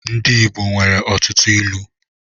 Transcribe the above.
Ndị igbo nwere ọtụtụ ịlu